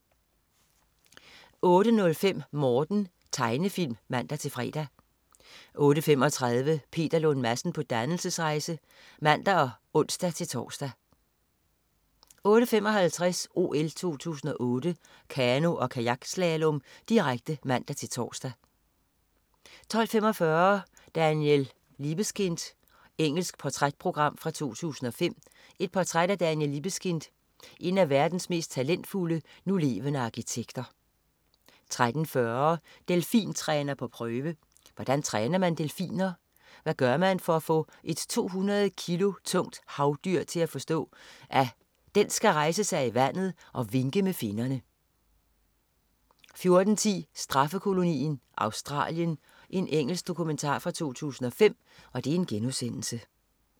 08.05 Morten. Tegnefilm (man-fre) 08.35 Peter Lund Madsen på dannelsesrejse. (man og ons-tors) 08.55 OL 2008: Kano- og kajakslalom, direkte (man-tors) 12.45 Daniel Libeskind. Engelsk portrætprogram fra 2005. Portræt af Daniel Libeskind, en af verdens mest talentfulde, nulevende arkitekter 13.40 Delfintræner på prøve. Hvordan træner man delfiner? Hvad gør man for at få et 200 kilo tungt havdyr til at forstå, at den skal rejse sig i vandet og vinke med finnerne 14.10 Straffekolonien Australien. Engelsk dokumentar fra 2005*